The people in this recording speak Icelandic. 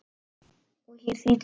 Og hér þrýtur lög.